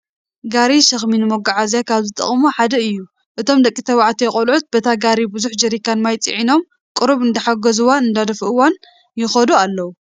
ጋሪ ሸኽሚ ንመጓዓዓዚ ካብ ዝጠቕሙ ሓደ እዩ፡፡ እቶም ደቂ ተባዕትዮ ቆልዑት በታ ጋሪ ብዙሕ ጀሪካን ማይ ፂዒኖም ቁሩብ እንዳሓገዝዋ/ እንዳደፍእዋ ይኸዱ ኣለው፡